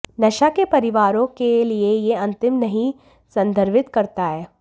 नशा के परिवारों के लिए यह अंतिम नहीं संदर्भित करता है